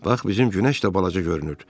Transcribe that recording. Bax bizim günəş də balaca görünür.